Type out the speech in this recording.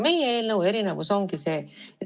Meie eelnõu erinevus ongi see.